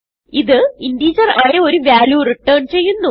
ഇത് integerആയ ഒരു വാല്യൂ റിട്ടേൺ ചെയ്യുന്നു